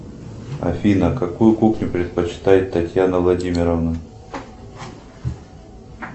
афина какую кухню предпочитает татьяна владимировна